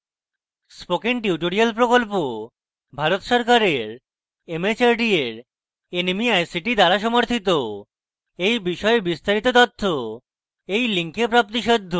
spoken tutorial project Bharat সরকারের mhrd এর nmeict দ্বারা সমর্থিত এই বিষয়ে বিস্তারিত তথ্য এই link প্রাপ্তিসাধ্য